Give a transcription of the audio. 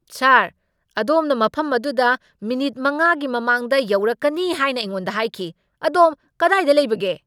ꯁꯥꯔ, ꯑꯗꯣꯝꯅ ꯃꯐꯝ ꯑꯗꯨꯗ ꯃꯤꯅꯤꯠ ꯃꯉꯥꯒꯤ ꯃꯃꯥꯡꯗ ꯌꯧꯔꯛꯀꯅꯤ ꯍꯥꯏꯅ ꯑꯩꯉꯣꯟꯗ ꯍꯥꯏꯈꯤ꯫ ꯑꯗꯣꯝ ꯀꯗꯥꯏꯗ ꯂꯩꯕꯒꯦ?